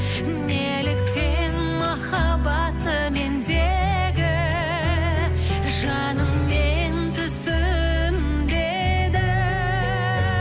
неліктен махаббатты мендегі жаныңмен түсінбедің